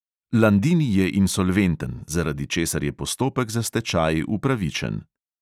Landini je insolventen, zaradi česar je postopek za stečaj upravičen.